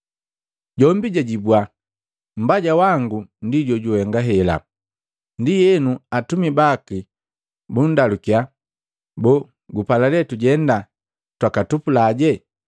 Jombi jajibua, ‘Mbaja wangu ndi jojuhenga hela.’ Ndienu atumi baki bundalukiya, ‘Boo, gupala le tujenda twakatupulaje?’